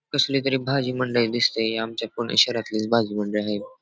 कसली तरी भाजी मंडई दिसते ही आमच्या पुणे शहरातलीच भाजी मंडई आहे.